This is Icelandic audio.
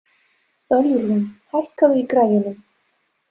Ölrún, hækkaðu í græjunum.